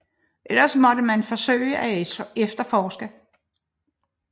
Ellers måtte man forsøge at efterforske